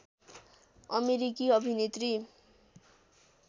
अमेरिकी अभिनेत्री